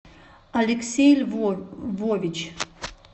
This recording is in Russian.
алексей львович